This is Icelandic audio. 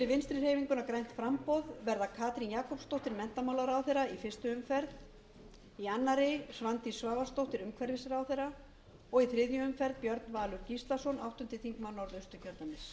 vinstri hreyfinguna grænt framboð verða katrín jakobsdóttir menntamálaráðherra í fyrstu umferð í annarri svandís svavarsdóttir umhverfisráðherra og í þriðju umferð björn valur gíslason áttundi þingmaður norðausturkjördæmis